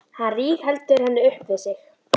Hann rígheldur henni upp við sig.